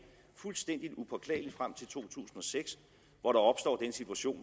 fuldstændig upåklageligt frem til to tusind og seks hvor der opstår den situation